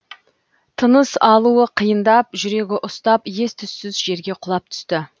тыныс алуы қиындап жүрегі ұстап ес түссіз жерге құлап түсті